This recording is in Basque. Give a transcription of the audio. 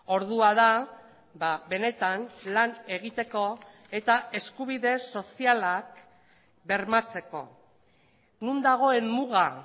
ordua da benetan lan egiteko eta eskubide sozialak bermatzeko non dagoen muga